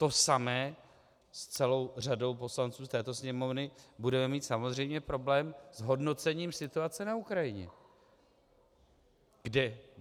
To samé - s celou řadou poslanců z této Sněmovny budeme mít samozřejmě problém s hodnocením situace na Ukrajině.